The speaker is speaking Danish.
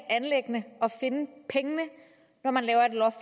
finde pengene når man laver et loft